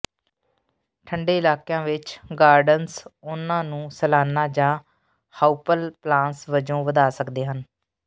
ਠੰਢੇ ਇਲਾਕਿਆਂ ਵਿਚ ਗਾਰਡਨਰਜ਼ ਉਹਨਾਂ ਨੂੰ ਸਾਲਾਨਾ ਜਾਂ ਹਾਊਪਲਪਲਾਂਸ ਵਜੋਂ ਵਧਾ ਸਕਦੇ ਹਨ